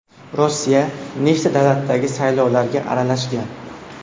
Rossiya nechta davlatdagi saylovlarga aralashgan?